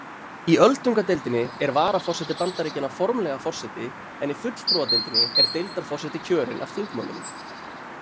Í öldungadeildinni er varaforseti Bandaríkjanna formlega forseti en í fulltrúadeildinni er deildarforseti kjörinn af þingmönnunum.